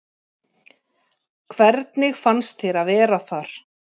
Hvernig fannst þér að vera þar?